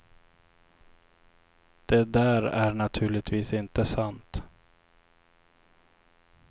Det där är naturligtvis inte sant.